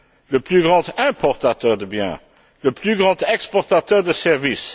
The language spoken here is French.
le plus grand importateur de biens, le plus grand exportateur de services.